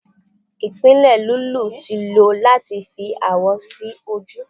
ipile lulú ti lo lati fi awọ si oju